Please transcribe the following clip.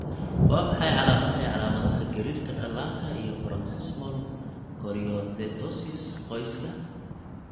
Waa maxay calaamadaha iyo calaamadaha gariirka dhallaanka iyo paroxysmal choreoathetosis, qoyska?